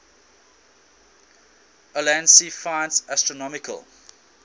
ulansey finds astronomical